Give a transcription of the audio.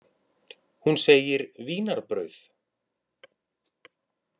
Hún segir: Vínarbrauð.